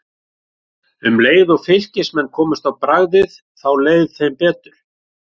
Um leið og Fylkismenn komust á bragðið þá leið þeim betur.